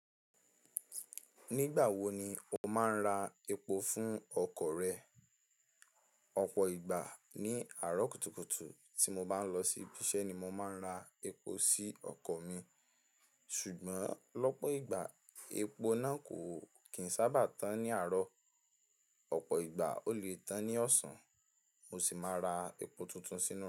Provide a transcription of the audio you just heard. Nígbà wo ni o máa ń ra epo fún ọkọ̀ rẹ? Ọ̀pọ̀ ìgbà ní àárọ̀ kùtùkùtù tí mo bá ń lọ sí ibi iṣẹ́ ni mo máa ń ra epo sí ọkọ̀ mi. Ṣùgbọ́n lọ́pọ̀ ìgbà epo náà kò kì n sábà tán ní àárọ̀. Ọ̀pọ̀ ìgbà ó lè tán ní ọ̀sán. Mo sì máa ra epo tuntun sínú rẹ.